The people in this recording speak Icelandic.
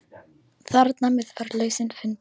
Þarmeð var lausnin fundin.